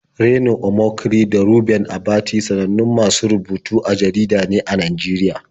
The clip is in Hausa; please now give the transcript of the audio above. Reno Omokri da Reuben Abati sanannun masu rubutu a jarida ne a Najeriya.